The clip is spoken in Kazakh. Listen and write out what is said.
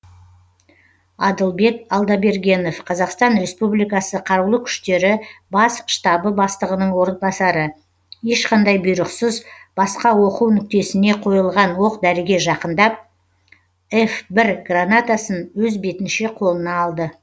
адылбек алдабергенов қазақстан республикасы қарулы күштері бас штабы бастығының орынбасары ешқандай бұйрықсыз басқа оқу нүктесіне қойылған оқ дәріге жақындап ф бір гранатасын өз бетінше қолына алды